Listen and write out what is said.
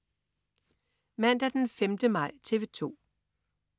Mandag den 5. maj - TV 2: